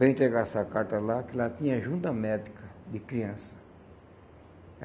Para entregar essa carta lá, que lá tinha ajuda médica de criança.